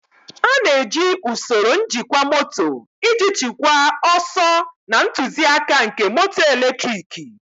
A na-eji usoro njikwa moto iji chịkwaa ọsọ na ntụzịaka nke moto eletriki.